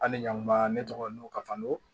Hali ɲankuma ne tɔgɔ n'u ka fando